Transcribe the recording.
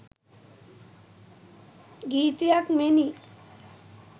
ගීතයක් මෙනි.